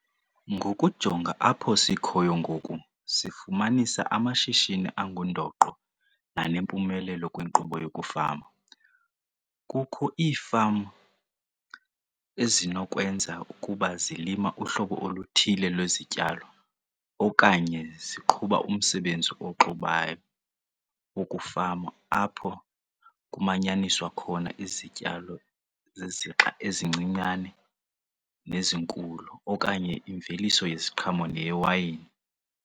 Ngokujonga apho sikhoyo ngoku sifumanisa amashishini angundoqo nanempumelelo kwinkqubo yokufama. Kukho iifama ezinokwenza ukuba zilima uhlobo oluthile lwezityalo okanye ziqhuba umsebenzi oxubayo wokufama apho kumanyaniswa khona izityalo zezixa ezincinane nezinkulu okanye imveliso yeziqhamo neyewayini.